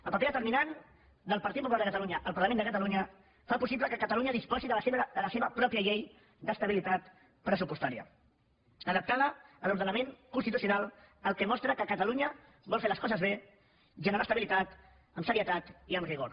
el paper determinant del partit popular de catalunya al parlament de catalunya fa possible que catalunya disposi de la seva pròpia llei d’estabilitat pressupostària adaptada a l’ordenament constitucional fet que mostra que catalunya vol fer les coses bé generar estabilitat amb serietat i amb rigor